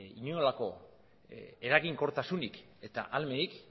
inolako eraginkortasunik eta ahalmenik